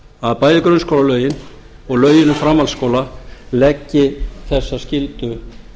að bæði grunnskólalögin og lögin um framhaldsskóla leggi þessa skyldu